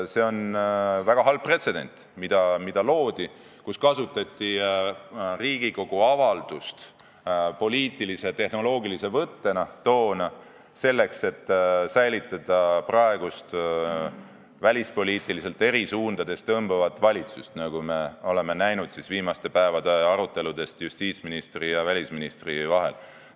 See on väga halb pretsedent, mis loodi, kui Riigikogu avaldust kasutati poliittehnoloogilise võttena, selleks et säilitada välispoliitiliselt eri suundades tõmbavat valitsust, nagu me oleme näinud viimaste päevade arutelude põhjal justiitsministri ja välisministri vahel.